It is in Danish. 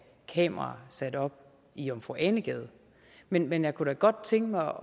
kameraer sat op i jomfru ane gade men men jeg kunne da godt tænke